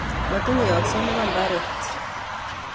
Motinye yokset nebo ibaret